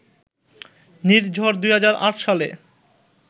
নির্ঝর ২০০৮ সালে